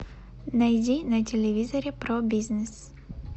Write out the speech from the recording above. найди на телевизоре про бизнес